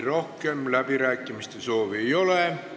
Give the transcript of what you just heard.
Rohkem läbirääkimiste soovi ei ole.